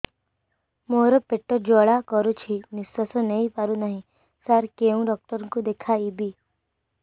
ମୋର ପେଟ ଜ୍ୱାଳା କରୁଛି ନିଶ୍ୱାସ ନେଇ ପାରୁନାହିଁ ସାର କେଉଁ ଡକ୍ଟର କୁ ଦେଖାଇବି